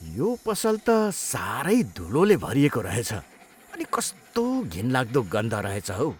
यो पसल त साह्रै धुलोले भरिएको रहेछ अनि कस्तो घिनलाग्दो गन्ध रहेछ हौ।